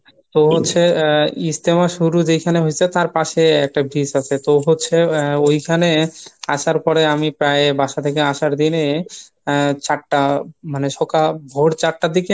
তো হচ্ছে ইজতেমা শুরু যেখানে হয়েছে তার পশে একটা bridge আসে তো হচ্ছে ঐখানে আসার পরে আমি প্রায় বাসা থেকে আসার দিনে আহ চারটা মানে সকাল ভোর চারটার দিকে